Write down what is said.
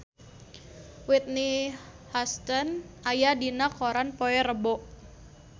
Whitney Houston aya dina koran poe Rebo